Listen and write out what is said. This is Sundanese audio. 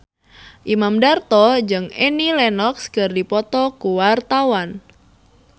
Imam Darto jeung Annie Lenox keur dipoto ku wartawan